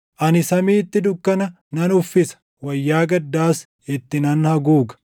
Ani samiitti dukkana nan uffisa; wayyaa gaddaas itti nan haguuga.”